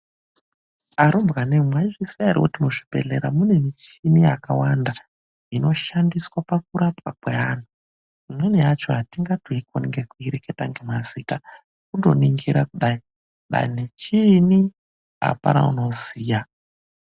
ARUMBWANEMWI MAIZVIZIYA HERE KUTI MUZVIBEHLERA MUNE MICHINI YAKAWANDA INOSHANDiSWA MUKURAPWA KWEANHU IMWENI YACHO ATINGATOIKONI NGEKUIREKETA NEMAZITA KUNGONINGIRA KUDAI DANI CHIINYI APANA UNOZIYA.